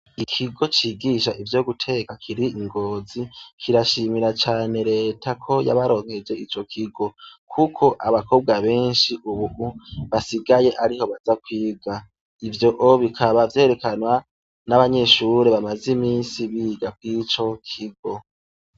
Ikigo cigisha ivyo guteka kiri i Ngozi kirashimira cane Leta ko yabaronkeje ico kigo kuko abakobwa benshi ubu basigaye ariho baja kwiga. Ivyo bikaba vyerekanwa n'abanyeshure bamaze iminsi biga kuri ico kigo.